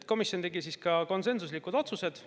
Komisjon tegi ka konsensuslikud otsused.